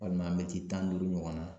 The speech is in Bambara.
Walima mɛti tan duuru ɲɔgɔnna